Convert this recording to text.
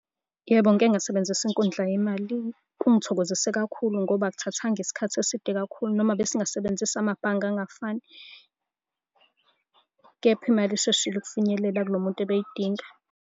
Yebo, ngike ngasebenzisa inkundla yemali. Kungithokozise kakhulu ngoba akuthathanga isikhathi eside kakhulu, noma besingasebenzisa amabhange angafani, kepha imali isheshile ukufinyelela kulo muntu obeyidinga.